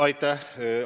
Aitäh!